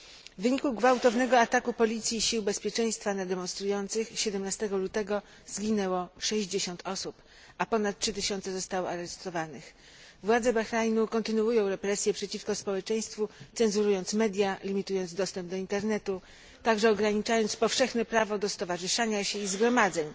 W wyniku gwałtownego ataku policji i sił bezpieczeństwa na demonstrujących 17 lutego zginęło 60 osób, a ponad 3 tysiące zostało aresztowanych. Władze Bahrajnu kontynuują represje przeciwko społeczeństwu, cenzurując media, limitując dostęp do internetu, także ograniczając powszechne prawo do stowarzyszania się i zgromadzeń,